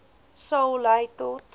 sal lei tot